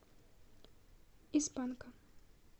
из панка